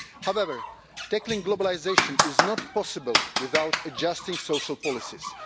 However, tackling globalisation is not possible without adjusting social policies.